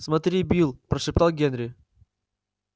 смотри билл прошептал генри